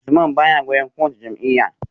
Usman baya goyon bayan kowace jam’iyya